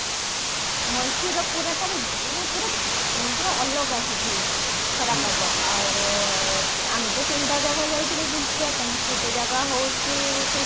ମଏଶ୍ଵର ପୁରା ତାର ମାନେ ପୁରା ପୁରା ଅଲଗା ସେଠି ଖରା ପାଗ ଆଉ ଆମେ ତ ତିନିଟା ଜାଗା ଯାଇଥିଲେ ବୁଲିବା ପାଇଁ ଗୋଟେ ଜାଗା ହଉଛି ସେଇ